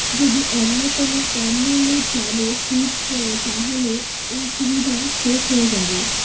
যদি অন্যকোনো কম মূল্যের প্ল্যানে সুইচ করে তাহলে এই সুবিধা শেষ হয়ে যাবে